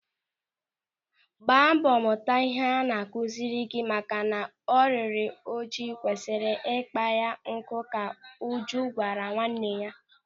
"Gbaa mbọ mụta ihe a na-akụziri gị maka na ọ rịrị ọjị kwesịrị ikpa ya nkụ" ka Uju gwara nwanne ya.